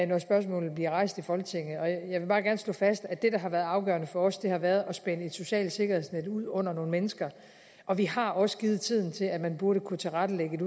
når spørgsmålet bliver rejst i folketinget jeg vil bare gerne slå fast at det der har været afgørende for os at gøre har været at spænde et socialt sikkerhedsnet ud under nogle mennesker og vi har også givet tiden til at man burde kunne tilrettelægge et